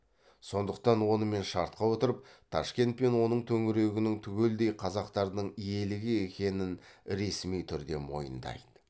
сондықтан онымен шартқа отырып ташкент пен оның төңірегінің түгелдей қазақтардың иелігі екенін ресми түрде мойындайды